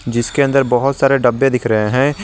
जिसके अंदर बहुत सारे डब्बे दिख रहे हैं।